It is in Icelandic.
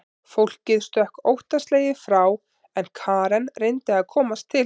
Fólkið stökk óttaslegið frá en Karen reyndi að komast til hans.